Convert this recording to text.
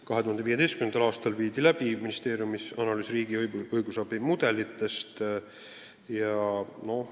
2015. aastal viidi ministeeriumis läbi riigi õigusabi mudelite analüüs.